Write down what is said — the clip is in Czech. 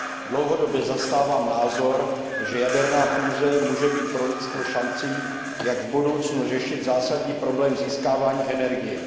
Dlouhodobě zastávám názor, že jaderná fúze může být pro lidstvo šancí, jak v budoucnu řešit zásadní problém získávání energie.